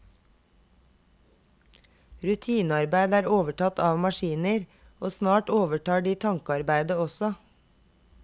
Rutinearbeid er overtatt av maskiner, og snart overtar de tankearbeidet også.